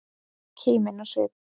Kímin á svip.